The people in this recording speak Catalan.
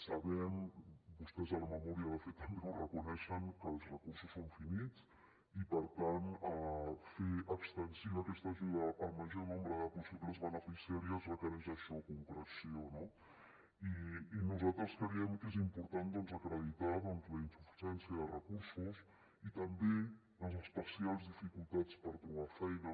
sabem vostès a la memòria de fet també ho reconeixen que els recursos són finits i per tant fer extensiva aquesta ajuda al major nombre de possibles beneficiàries requereix això concreció no i nosaltres creiem que és important doncs acreditar la insuficiència de recursos i també les especials dificultats per trobar feina